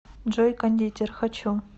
джой кондитер хочу